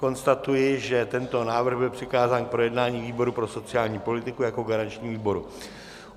Konstatuji, že tento návrh byl přikázán k projednání výboru pro sociální politiku jako garančnímu výboru.